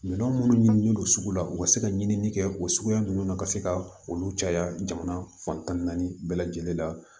Minɛn minnu ɲinini don sugu la u ka se ka ɲinini kɛ o suguya ninnu na ka se ka olu caya jamana fan tan ni naani bɛɛ lajɛlen la